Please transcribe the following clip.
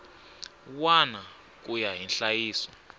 wana ku ya hi nhlayiso